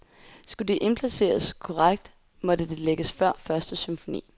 Skulle det indplaceres korrekt, måtte det lægges før første symfoni.